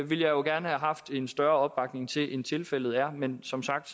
jo gerne have haft en større opbakning til end tilfældet er men som sagt